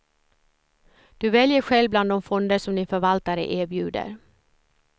Du väljer själv bland de fonder som din förvaltare erbjuder.